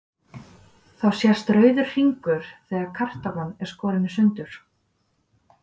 Þá sést rauður hringur þegar kartaflan er skorin í sundur.